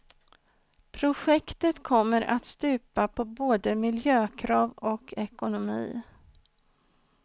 Projektet kommer att stupa på både miljökrav och ekonomi.